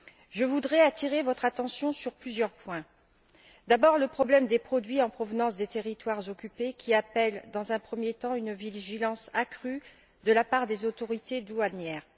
Je voudrais attirer votre attention sur plusieurs points. D'abord sur le problème des produits en provenance des territoires occupés qui appelle, dans un premier temps, une vigilance accrue de la part des autorités douanières.